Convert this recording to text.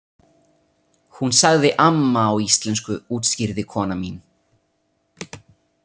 Hún sagði amma á íslensku útskýrði kona mín.